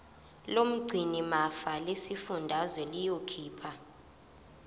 lomgcinimafa lesifundazwe liyokhipha